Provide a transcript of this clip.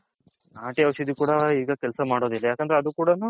ನಾಟಿ ಔಷದಿ ಕೂಡ ಈಗ ಕೆಲಸ ಯಾಕಂದ್ರೆ ಅದು ಕೂಡ ನು